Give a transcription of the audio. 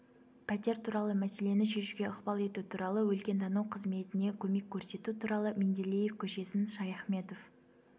пәтер туралы мәселені шешуге ықпал ету туралы өлкетану қызметіне көмек көрсету туралы менделеев көшесін шаяхметов